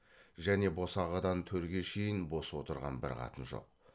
және босағадан төрге шейін бос отырған бір қатын жоқ